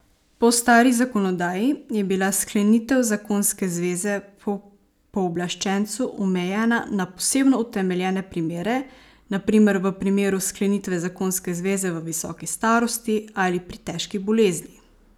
Po stari zakonodaji je bila sklenitev zakonske zveze po pooblaščencu omejena na posebno utemeljene primere, na primer v primeru sklenitve zakonske zveze v visoki starosti ali pri težki bolezni.